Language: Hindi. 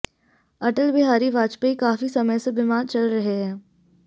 अटल बिहारी वाजपेयी काफी समय से बीमार चल रहे हैं